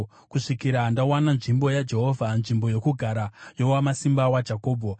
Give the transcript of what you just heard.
kusvikira ndawana nzvimbo yaJehovha, nzvimbo yokugara yoWamasimba waJakobho.”